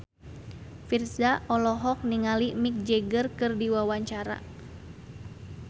Virzha olohok ningali Mick Jagger keur diwawancara